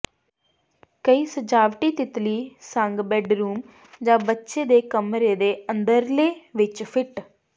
ਕਈ ਸਜਾਵਟੀ ਤਿੱਤਲੀ ਸੰਗ ਬੈੱਡਰੂਮ ਜ ਬੱਚੇ ਦੇ ਕਮਰੇ ਦੇ ਅੰਦਰਲੇ ਵਿੱਚ ਫਿੱਟ